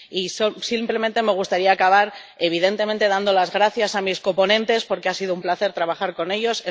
Y simplemente me gustaría acabar, evidentemente, dando las gracias a mis coponentes, porque ha sido un placer trabajar con ellos.